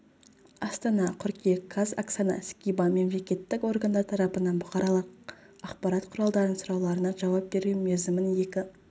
астана қыркүйек қаз оксана скибан мемлекеттік органдар тарапынан бұқаралық ақпарат құралдарының сұрауларына жауап беру мерзімін екі